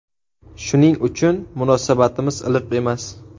Shuning uchun munosabatimiz iliq emas.